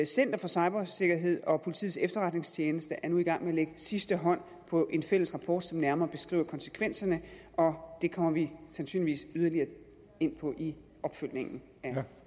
center for cybersikkerhed og politiets efterretningstjeneste er nu i gang med at lægge sidste hånd på en fælles rapport som nærmere beskriver konsekvenserne og det kommer vi sandsynligvis yderligere ind på i opfølgningen af